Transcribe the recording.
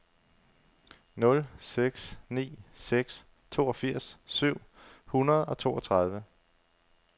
nul seks ni seks toogfirs syv hundrede og toogtredive